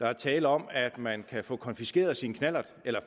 er tale om at man kan få konfiskeret sin knallert eller